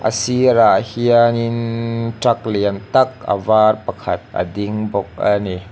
sirah hianin truck lian tak a var pakhat a ding bawk a ni.